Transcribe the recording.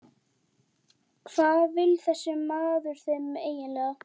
Hvað vill þessi maður þeim eiginlega?